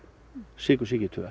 sykursýki